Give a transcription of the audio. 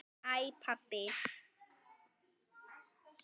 HÆ PABBI!